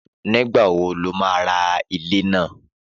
Nígbà wo lo ma ra ilé náà?